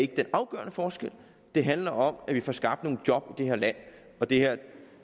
den afgørende forskel det handler om at vi får skabt nogle job i det her land og det her